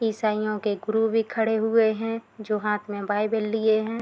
ईसाईयों के गुरु भी खड़े हुए हैं जो हाथ में बाइबल लिए हैं।